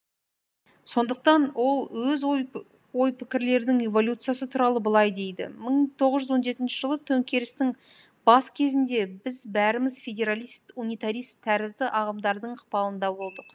сондықтан ол өз ой пікірлерінің эволюциясы туралы былай дейді мың тоғыз жүз он жетінші жылы төңкерістің бас кезінде біз бәріміз федералист унитарист тәрізді ағымдардың ықпалында болдық